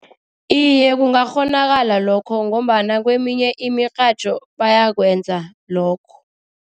Iye, kungakghonakala lokho ngombana kweminye imirhatjho bayakwenza lokho.